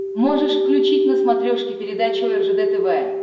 можешь включить на смотрешке передачу ржд тв